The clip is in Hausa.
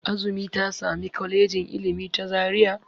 Azumi ta sami Kwalejin Ilimi ta Zaria.